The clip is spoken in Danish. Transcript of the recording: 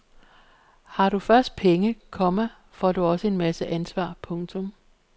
Har du først penge, komma får du også en masse ansvar. punktum